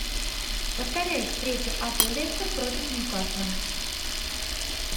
повторяй встречу апл лестер против ньюкасла